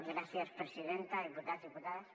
gràcies presidenta diputats diputades